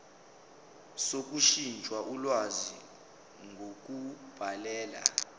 sokushintsha ulwazi ngokubhalela